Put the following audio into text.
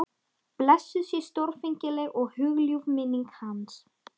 Blessuð sé stórfengleg og hugljúf minning hans.